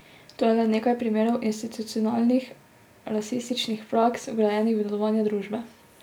To je le nekaj primerov institucionalnih rasističnih praks, vgrajenih v delovanje družbe.